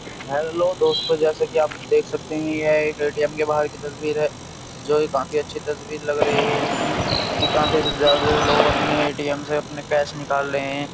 Hello दोस्तों जैसे कि आप देख सकते हैं यह एक एटीएम के बाहर की तस्वीर है जो काफी अच्छी तस्वीर लग रही है जिसमें कि काफी ज्यादा लोग अपने एटीएम से अपने कैश निकाल रहे हैं।